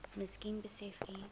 miskien besef u